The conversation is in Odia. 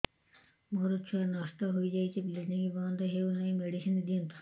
ମୋର ଛୁଆ ନଷ୍ଟ ହୋଇଯାଇଛି ବ୍ଲିଡ଼ିଙ୍ଗ ବନ୍ଦ ହଉନାହିଁ ମେଡିସିନ ଦିଅନ୍ତୁ